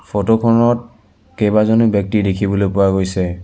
Photo খনত কেইবাজনো ব্যক্তি দেখিবলৈ পোৱা গৈছে।